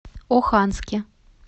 оханске